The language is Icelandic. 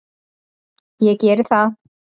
Ég gerði það.